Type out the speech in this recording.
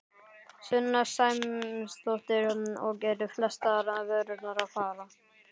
Sunna Sæmundsdóttir: Og eru flestar vörurnar að fara?